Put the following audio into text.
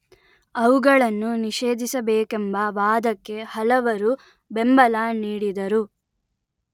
ಅವುಗಳನ್ನು ನಿಷೇಧಿಸಬೇಕೆಂಬ ವಾದಕ್ಕೆ ಹಲವರು ಬೆಂಬಲ ನೀಡಿದರು